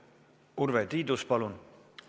Urve Tiidus, palun!